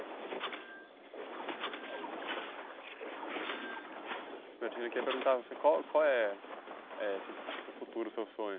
Norbertino, queria perguntar para você qual qual é, eh assim, para o futuro o seu sonho?